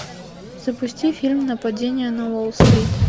запусти фильм нападение на уолл стрит